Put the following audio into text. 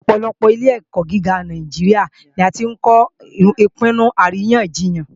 Ọ̀pọ̀lọpọ̀ àwọn ilé-ẹ̀kọ́ gíga Nàìjíríà ni a tí ń kọ́ Ìpinnu Àríyànjiyàn